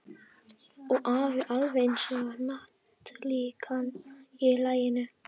Og afi var alveg eins og hnattlíkan í laginu.